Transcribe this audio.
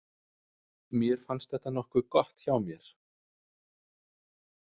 Mér fannst þetta nokkuð gott hjá mér.